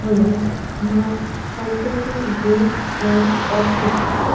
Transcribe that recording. মা Santoshi gift and cosmetics.